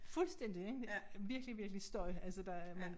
Fuldstændig ik virkelig virkelig støj altså der man